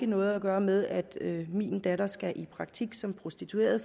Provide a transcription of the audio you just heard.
noget at gøre med at min datter skal i praktik som prostitueret